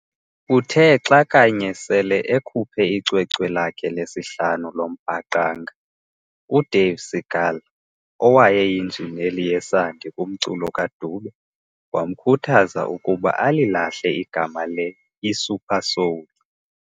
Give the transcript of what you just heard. Uthe xa kanye sele ekhuphe icwecwe lakhe lesihlanu loMbaqanga, uDave Segal, owayeyinjineli yesandi kumculo kaDube, wamkhuthaza ukuba alilahle igama le"iSupersoul".